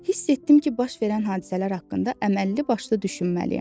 Hiss etdim ki, baş verən hadisələr haqqında əməlli başlı düşünməliyəm.